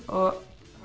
um